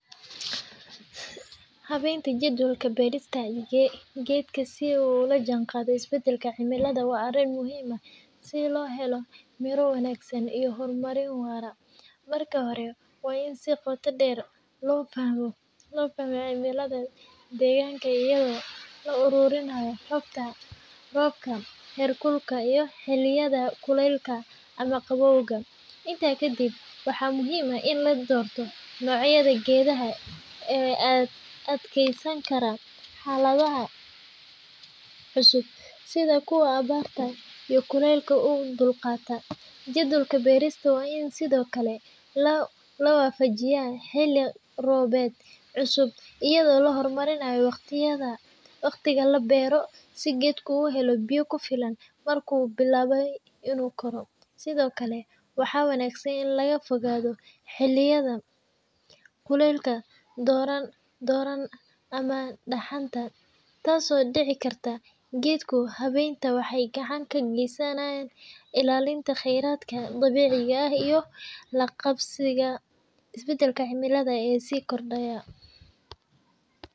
Habaynta jadwalka beerista geedka si uu ula jaanqaado isbedelka cimilada waa arrin muhiim ah si loo helo miro wanaagsan iyo horumar waara. Marka hore, waa in si qoto dheer loo fahmaa cimilada deegaanka iyadoo la ururinayo xogta roobka, heerkulka, iyo xilliyada kulaylka ama qabowga. Intaa kadib, waxaa muhiim ah in la doorto noocyada geedaha u adkeysan kara xaaladaha cusub, sida kuwa abaarta iyo kulaylka u dulqaata. Jadwalka beerista waa in sidoo kale la waafajiyaa xilli roobaadka cusub, iyadoo la hormarinayo waqtiga la beero si geedka u helo biyo ku filan marka uu bilaabayo inuu koro. Sidoo kale, waxaa wanaagsan in laga fogaado xilliyada kulaylka daran ama dhaxanta, taasoo dhaawici karta geedka. Habayntan waxay gacan ka geysanaysaa ilaalinta kheyraadka dabiiciga ah iyo la qabsiga isbeddelka cimilada ee sii kordhaya.